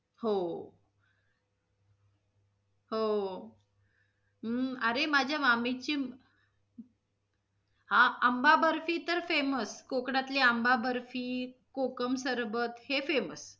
हो. हो, हम अ रे मामाची हा आंबा बर्फी तर famous कोकणातली आंबा बर्फी, कोकम सरबत हे famous